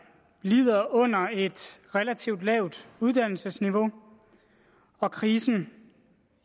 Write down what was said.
lider under et relativt lavt uddannelsesniveau og krisen